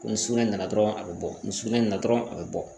Ko ni sugunɛ nana dɔrɔn a bɛ bɔ ni sugunɛ in na dɔrɔn a bɛ bɔ